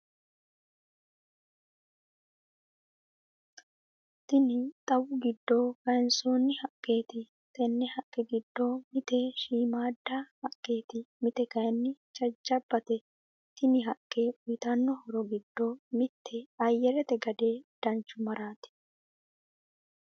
Tinni xawu giddo kayiisonni haqqeti tenne haqqe giddo mitte shiimada haqqeti mitte kayiini jajjabate tinni haqqe uyiitano horro giddo mitte ayyarete gadde danchumarra.....